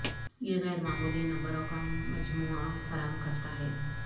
یہ غیر معمولی نمبروں کا مجموعہ فراہم کرتا ہے